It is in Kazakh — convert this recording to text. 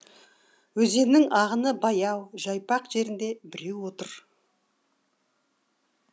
өзеннің ағыны баяу жайпақ жерінде біреу отыр